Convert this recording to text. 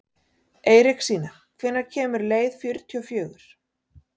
Eiríksína, hvenær kemur leið númer fjörutíu og fjögur?